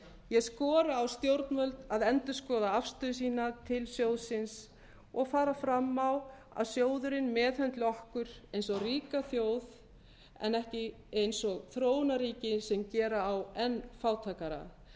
ég skora á stjórnvöld að endurskoða afstöðu sína til sjóðsins og fara fram á að sjóðurinn meðhöndli okkur eins og ríka þjóð en ekki eins og þróunarríki sem gera á enn fátækara það